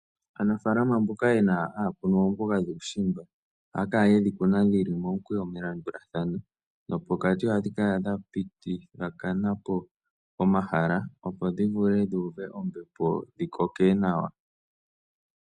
Aanafalama mboka haya kunu oomboga dhuushimba ohaa kala ye dhi kuna dhi li momukweyo melandulathano nopokati ohadhi kala dha pitithathana po omahala, opo dhi vule dhi uve ombepo dhi koke nawa.